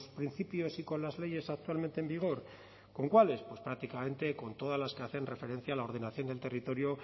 principios y con las leyes actualmente en vigor con cuáles pues prácticamente con todas las que hacen referencia a la ordenación del territorio